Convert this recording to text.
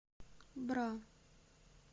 бра